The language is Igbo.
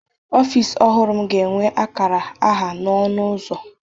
Ọfịs ọhụrụ m ga-enwe akara aha n'ọnụ ụzọ.